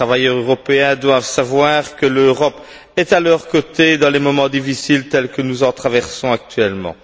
Les travailleurs européens doivent savoir que l'Europe est à leurs côtés dans les moments difficiles tels que nous en traversons actuellement.